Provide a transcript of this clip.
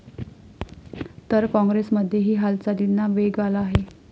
तर काँग्रेसमध्येही हालचालींना वेग आला आहे.